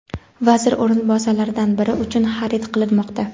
vazir o‘rinbosarlaridan biri uchun xarid qilinmoqda.